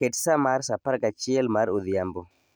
Ket sa mar sa apar gachiel mar odhiambo